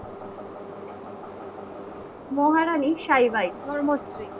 মহারানীর সাইবাই ধর্ম স্ত্রী।